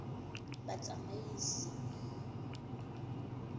batsamaisi